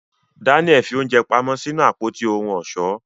Danial fi oúnjẹ pamọ́ sínú Àpótí ohun ọ̀ṣọ́.